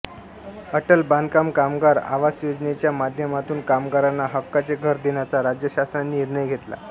अटल बांधकाम कामगार आवास योजनेच्या माध्यमातून कामगारांना हक्काचे घर देण्याचा राज्य शासनाने निर्णय घेतला